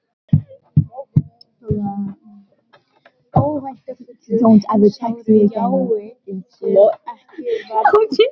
Mér finnst þetta allt hálf óhuggulegt, sagði Venus undan